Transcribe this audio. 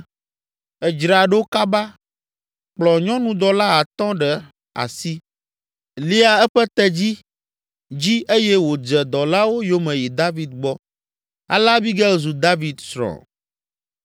Edzra ɖo kaba, kplɔ nyɔnudɔla atɔ̃ ɖe asi, lia eƒe tedzi dzi eye wòdze dɔlawo yome yi David gbɔ. Ale Abigail zu David srɔ̃.